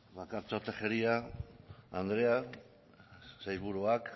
bakartxo tejeria andrea sailburuak